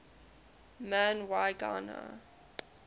man y gana